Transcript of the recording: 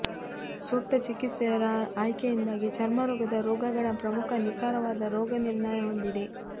ಸೂಕ್ತ ಚಿಕಿತ್ಸೆ ರ ಆಯ್ಕೆಯಿಂದಾಗಿ ಚರ್ಮರೋಗದ ರೋಗಗಳ ಪ್ರಮುಖ ನಿಖರವಾದ ರೋಗನಿರ್ಣಯ ಹೊಂದಿದೆ